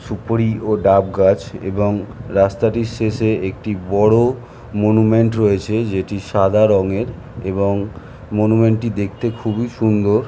সুপুরি ও ডাব গাছ এবং রাস্তাটির শেষে একটি বড় মনুমেন্ট রয়েছে যেটি সাদা রংয়ের এবং মনুমেন্ট টি দেখতে খুবই সুন্দর --